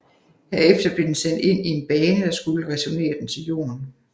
Herefter blev den sendt ind i en bane der skulle returnere den til Jorden